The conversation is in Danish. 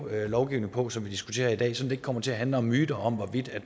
lovgivning på som vi diskuterer i dag så det ikke kommer til at handle om myter om hvorvidt